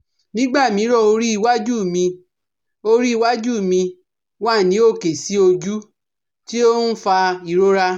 Nígbà mìíràn, orí iwájú mi orí iwájú mi wà ní òkè sí ojú, tí ó ń fa ìrora